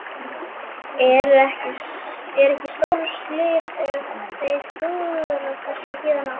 En er ekki stórslys ef þeir klúðra þessu héðan af?